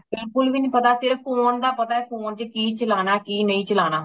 ਬਿਲਕੁਲ ਵੀ ਨਹੀਂ ਪਤਾ ਸਿਰਫ phone ਦਾ ਪਤਾ phone ਵਿਚ ਕੀ ਚਲਾਨਾ ਕੀ ਨਹੀਂ ਚਲਾਨਾ